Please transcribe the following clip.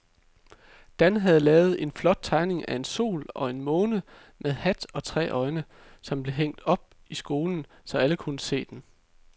Dan havde lavet en flot tegning af en sol og en måne med hat og tre øjne, som blev hængt op i skolen, så alle kunne se den.